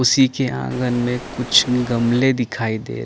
उसी के आँगन में कुछ गमले दिखाई दे रहे --